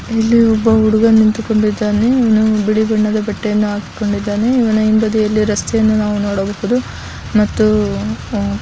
ಇಲ್ಲಿ ಒಬ್ಬ ಹುಡುಗ ನಿಂತುಕೊಂಡಿದ್ದಾನೆ. ಅವನು ಬಿಳಿ ಬಣ್ಣದ ಬಟ್ಟೆಯನ್ನು ಹಾಕೊಂಡಿದ್ದಾನೆ ಇವನ ಹಿಂಬದಿಯಲ್ಲಿ ರಸ್ತೆಯನ್ನು ನಾವು ನೋಡಬಹುದು ಮತ್ತು ಅಹ್ --